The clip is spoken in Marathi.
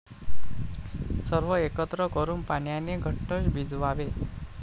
सर्व एकत्र करून पाण्याने घट्ट भिजवावे.